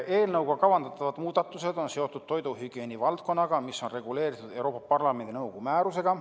Eelnõuga kavandatavad muudatused on seotud toiduhügieeni valdkonnaga, mis on reguleeritud Euroopa Parlamendi ja nõukogu määrusega.